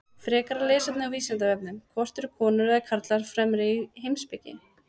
Frekara lesefni á Vísindavefnum: Hvort eru konur eða karlar fremri í heimspeki?